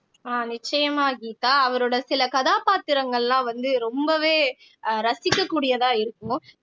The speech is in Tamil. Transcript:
ஆஹ் நிச்சயமா கீதா அவரோட சில கதாபாத்திரங்கள்லாம் வந்து ரொம்பவே அஹ் ரசிக்கக்கூடியதா இருக்கும்